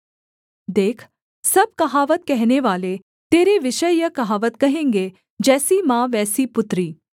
देख सब कहावत कहनेवाले तेरे विषय यह कहावत कहेंगे जैसी माँ वैसी पुत्री